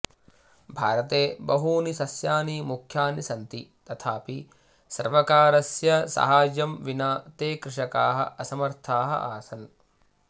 भारते बहूनि सस्यानि मुख्यानि सन्ति तथापि सर्वकारस्य साहाय्यं विना ते कृषकाः असमर्थाः आसन्